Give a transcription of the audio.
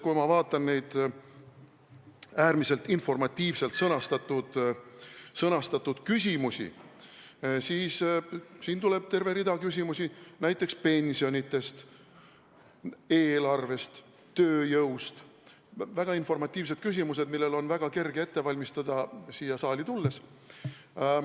Kui ma vaatan neid äärmiselt informatiivselt sõnastatud küsimusi, siis näen, et siin tuleb terve rida küsimusi pensionidest, eelarvest, tööjõust – need on väga informatiivsed küsimused, mida on väga kerge ette valmistada siia saali tulles.